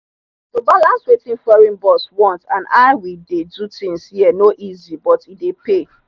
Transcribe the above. to balance wetin foreign boss want and how we dey do things here no easy but e dey pay.